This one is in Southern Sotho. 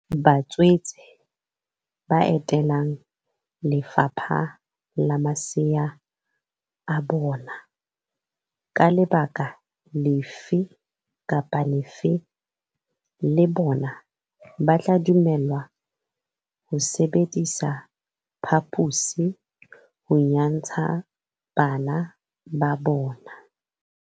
Batswetse ba etelang le fapha le masea a bona ka lebaka lefe kapa lefe le bona ba tla dumellwa ho sebedisa phaposi ho nyantsha bana ba bona.